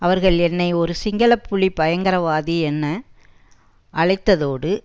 அவர்கள் என்னை ஒரு சிங்கள புலி பயங்கரவாதி என அழைத்ததோடு